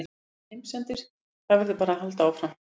Þetta er enginn heimsendir, það verður bara að halda áfram.